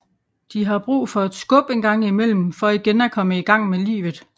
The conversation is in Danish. De har brug for et skub engang imellem for igen at komme i gang med livet